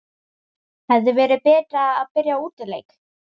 Hefði verið betra að byrja á útileik?